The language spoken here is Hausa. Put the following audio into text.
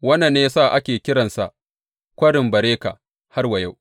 Wannan ne ya sa ake kiransa Kwarin Beraka har wa yau.